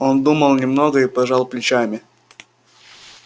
он думал немного и пожал плечами